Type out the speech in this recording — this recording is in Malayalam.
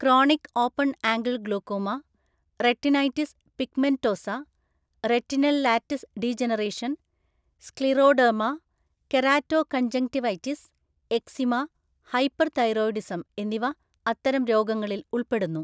Chronic open angle glaucoma, retinitis pigmentosa, retinal‍ lattice degeneration, scleroderma, keratoconjunctivitis, eczema, hyperthyroidism എന്നിവ അത്തരം രോഗങ്ങളിൽ ഉൾപ്പെടുന്നു.